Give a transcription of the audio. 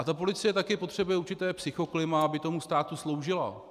A ta policie také potřebuje určité psychoklima, aby tomu státu sloužila.